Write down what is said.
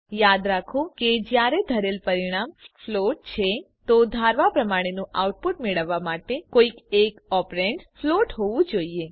યાદ રાખો કે જયારે ધરેલ પરિણામ ફ્લોટ છે તો ધારવા પ્રમાણેનું આઉટપુટ મેળવવા માટે કોઈ એક ઓપ્રેન્ડ્સ ફ્લોટ હોવું જરૂરી છે